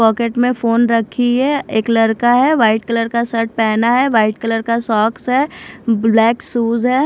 Pocket में phone रखी है एक लड़का है वाइट कलर का शर्ट पहना है वाइट कलर का सॉक्स है ब्लैक शूज है।